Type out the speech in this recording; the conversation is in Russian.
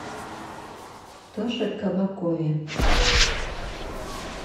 тоше кабакове